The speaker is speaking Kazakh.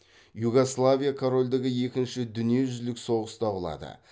югославия корольдігі екінші дүниежүзілік соғыста құлады